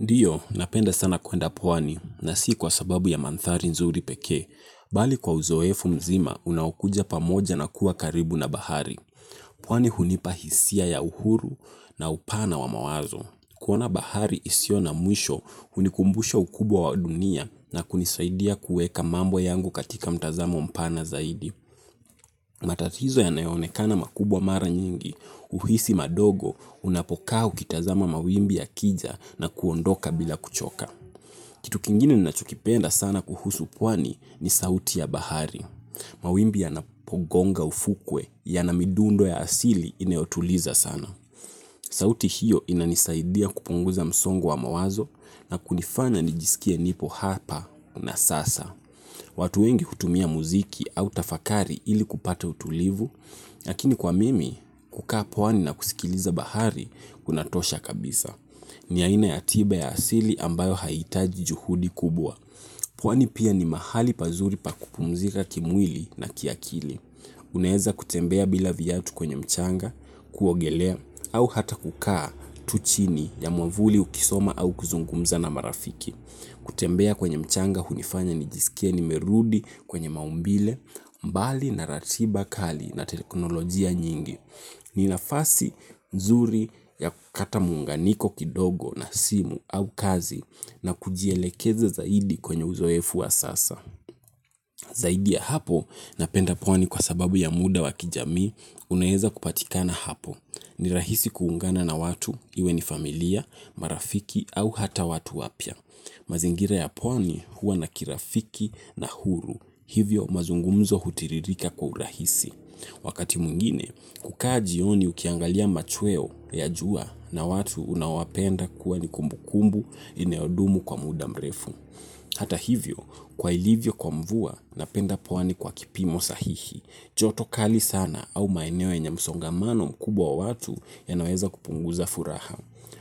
Ndio, napenda sana kuenda pwani, na si kwa sababu ya manthari nzuri pekee. Mbali kwa uzoefu mzima, unaokuja pamoja na kuwa karibu na bahari. Pwani hunipa hisia ya uhuru na upana wa mawazo. Kuona bahari isio na mwisho, unikumbusha ukubwa wa dunia na kunisaidia kueka mambo yangu katika mtazamo mpana zaidi. Matatozo yanayo onekana makubwa mara nyingi, uhisi madogo, unapokaa ukitazama mawimbi yakija na kuondoka bila kuchoka. Kitu kingine ninacho kipenda sana kuhusu pwani ni sauti ya bahari. Mawimbi yanapo gonga ufukwe yana midundo ya asili inayotuliza sana. Sauti hiyo inanisaidia kupunguza msongo wa mawazo na kunifanya nijiskie nipo hapa na sasa. Watu wengi hutumia muziki au tafakari ili kupata utulivu, lakini kwa mimi kukaa pwani na kusikiliza bahari kunatosha kabisa. Ni haina ya tiba ya asili ambayo haitaji juhudi kubwa. Pwani pia ni mahali pazuri pakukumzika kimwili na kiakili. Unaeza kutembea bila viatu kwenye mchanga, kuogelea, au hata kukaa tu chini ya mwavuli ukisoma au kuzungumza na marafiki. Kutembea kwenye mchanga hunifanya nijisikie nimerudi kwenye maumbile, mbali na ratiba kali na teknolojia nyingi. Ni nafasi nzuri ya kukata muunganiko kidogo na simu au kazi na kujielekeza zaidi kwenye uzoefu wa sasa. Zaidi ya hapo na penda pwani kwa sababu ya muda wa kijami, unaeza kupatikana hapo. Ni rahisi kuungana na watu, iwe ni familia, marafiki au hata watu wapya. Mazingira ya pwani huwa na kirafiki na uhuru, hivyo mazungumzo hutiririka kwa urahisi. Wakati mwingine, hukaa jioni ukiangalia machweo ya jua na watu unao wapenda kuwa ni kumbu kumbu inayodumu kwa muda mrefu. Hata hivyo, kwa ilivyo kwa mvua, napenda pwani kwa kipimo sahihi. Joto kali sana au maeneo yenye msongamano mkubwa watu yanaweza kupunguza furaha.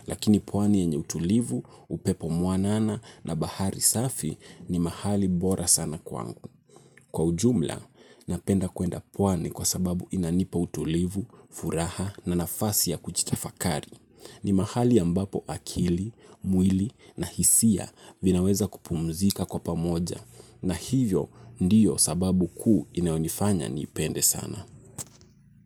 Lakini pwani yenye utulivu, upepo mwanana na bahari safi ni mahali bora sana kwa ujumla. Napenda kuenda pwani kwa sababu inanipa utulivu, furaha na nafasi ya kujitafakari. Ni mahali ambapo akili, mwili na hisia vinaweza kupumzika kwa pamoja. Na hivyo ndiyo sababu kuu inayonifanya ni ipende sana.